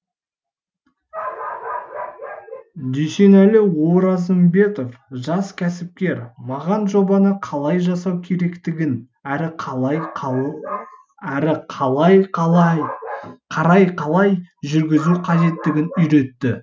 дүйсенәлі оразымбетов жас кәсіпкер маған жобаны қалай жасау керектігін әрі қарай қалай жүргізу қажеттігін үйретті